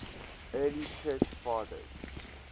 early church fathers